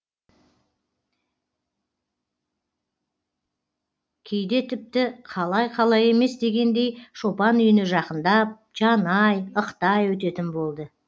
кейде тіпті қалай қалай емес дегендей шопан үйіне жақындап жанай ықтай өтетін болды